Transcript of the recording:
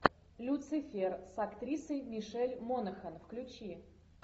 люцифер с актрисой мишель монахэн включи